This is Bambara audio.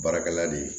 Baarakɛla de